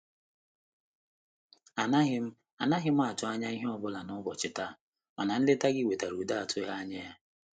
Anaghị m Anaghị m atụ anya ihe ọbula n'ubọchi ta, mana nleta gị wetara udo atụghị anya ya.